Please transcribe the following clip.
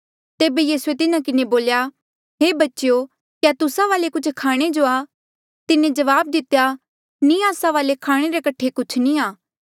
तेबे यीसूए तिन्हा किन्हें बोल्या हे बच्चेयो क्या तुस्सा वाले कुछ खाणे जो आ तिन्हें जवाब दितेया नी आस्सा वाले खाणे रे कठे कुछ नी आ